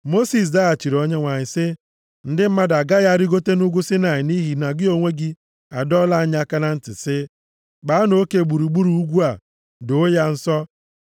Mosis zaghachiri Onyenwe anyị sị, “Ndị mmadụ agaghị arịgota nʼugwu Saịnaị nʼihi na gị onwe gị adọọla anyị aka na ntị sị, ‘Kpaanụ oke gburugburu ugwu a, doo ya nsọ.’ ”